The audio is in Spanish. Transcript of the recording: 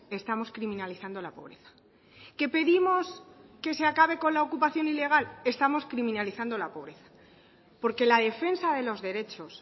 estamos criminalizando la pobreza que pedimos que se acabe con la ocupación ilegal estamos criminalizando la pobreza porque la defensa de los derechos